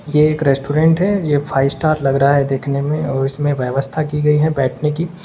ये एक रेस्टोरेंट है ये फाइव स्टार लग रहा है देखने में और इसमें व्यवस्था की गई है बैठने की।